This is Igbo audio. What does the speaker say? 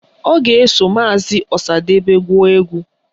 Ọ ga-eso maazi Ọsadebe gụọ egwu